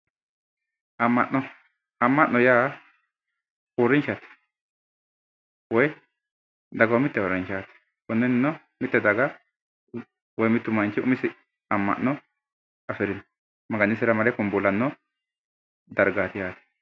Amma'no amma'no yaa uurrinshate woyi dagoomitte uurrinshaati konnino mitte daga woyi mittu manchi umisi amma'no afirino maganisira mare kumbuulanno dargaati